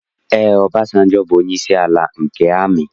Ee, Ọbasanjọ bụ onyeisi ala nke amị.